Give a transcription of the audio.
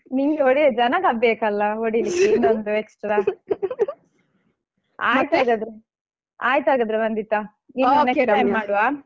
ನಿಂಗೆ ಹೊಡಿಲಿಕ್ಕೆ ಜನ ಅಹ್ ಬೇಕಲ್ಲ ಹೊಡಿಲಿಕ್ಕೆ ಆಯಿತಾಗಾದ್ರೆ ಆಯಿತಾಗಾದ್ರೆ ವಂದಿತಾ ಇನ್ನೊಮ್ಮೆ next time ಮಾಡ್ವಾ.